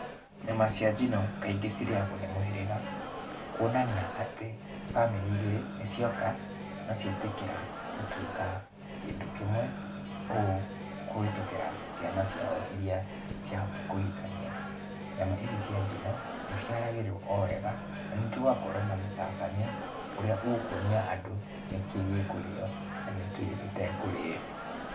Nyama cia njino, kaingĩ cirĩagũo nĩ mũhĩrĩga, kuonania atĩ bamĩrĩ igĩrĩ nĩcioka, na cietĩkĩra gũtuĩka kĩndũ kĩmwe, ũũ kũhĩtũkĩra ciana ciao iria ciahota kũhikania. Nyama ici cia njino, nĩciharagĩrio o wega, na ningĩ gũgakorwo na mũtabanio, ũrĩa ũkuonia andũ nĩkĩ gĩkũrĩo na nĩkĩ gĩtekũrĩo